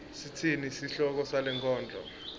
sitsini sihloko salenkondlo